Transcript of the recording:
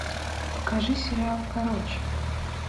покажи сериал короче